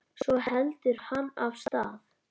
Svo heldur hann af stað.